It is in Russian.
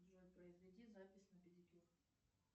джой произведи запись на педикюр